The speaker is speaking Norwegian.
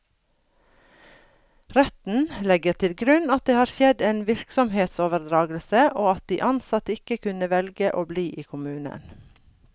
Retten legger til grunn at det har skjedd en virksomhetsoverdragelse, og at de ansatte ikke kunne velge å bli i kommunen.